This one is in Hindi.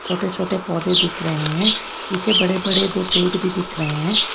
छोटे छोटे पौधे दिख रहे हैं पीछे बड़े बड़े दो पेड़ भी दिख रहे हैं।